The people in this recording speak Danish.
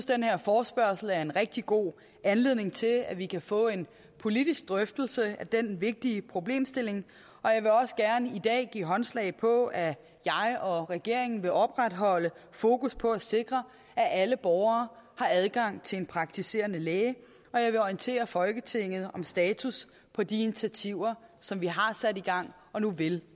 den her forespørgsel er en rigtig god anledning til at vi kan få en politisk drøftelse af den vigtige problemstilling og jeg vil også gerne i dag give håndslag på at jeg og regeringen vil opretholde fokus på at sikre at alle borgere har adgang til en praktiserende læge og jeg vil orientere folketinget om status på de initiativer som vi har sat i gang og nu vil